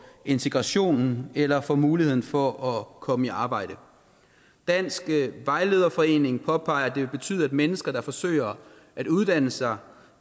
integrationen eller for muligheden for at komme i arbejde dansk vejlederforening påpeger at det vil betyde at mennesker der forsøger at uddanne sig